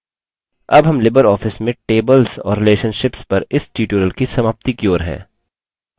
अब हम libreoffice में tables और relationships पर इस tutorial की समाप्ति की ओर हैं